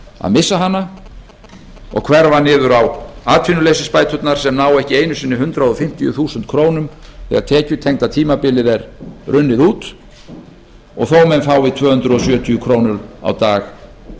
að missa hana og hverfa niður á atvinnuleysisbæturnar sem ná ekki einu sinni hundrað fimmtíu þúsund krónur þegar tekjutengda tímabilið er runnið út og þó að menn fái tvö hundruð sjötíu krónur á dag